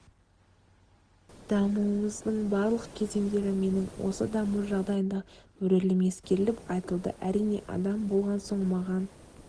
дамуымыздың барлық кезеңдері менің осы даму жағдайындағы рөлім ескеріліп айтылды әрине адам болған соң маған